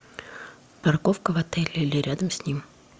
парковка в отеле или рядом с ним